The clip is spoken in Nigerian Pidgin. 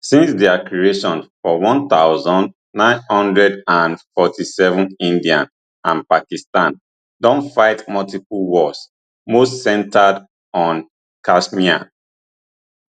since dia creation for one thousand, nine hundred and forty-seven india and pakistan don fight multiple wars most centred on kashmir